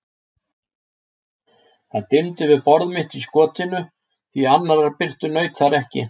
Það dimmdi við borð mitt í skotinu, því annarrar birtu naut þar ekki.